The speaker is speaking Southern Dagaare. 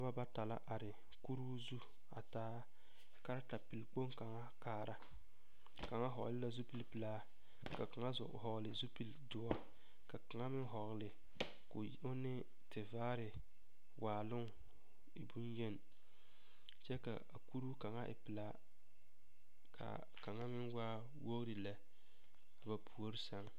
Noba bata la are kuruu zu a taa karetapelkpoŋ kaŋ taa kaara kaŋ hɔgle la zupilipelaa ka kaŋa hɔgle zupilidoɔ la kaŋa meŋ hɔgle k,o ne tevaare waaloŋ e bonyeni kyɛ ka kuruu kaŋa e pelaa ka kaŋa meŋ waa wogri lɛ ba puori seŋ.